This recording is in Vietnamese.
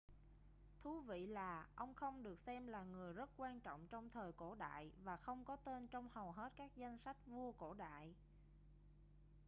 thú vị là ông không được xem là người rất quan trọng trong thời cổ đại và không có tên trong hầu hết các danh sách vua cổ đại